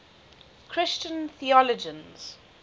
christian theologians